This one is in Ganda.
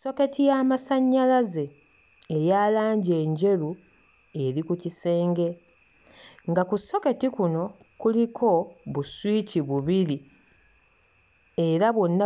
Soketi y'amasannyalaze eya langi enjeru eri ku kisenge. Nga ku soketi kuno kuliko buswiki bubiri era bwonna